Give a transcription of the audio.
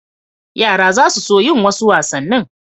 Yara za su so yin wasu wasannin.